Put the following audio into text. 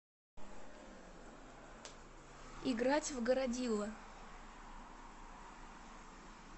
играть в городило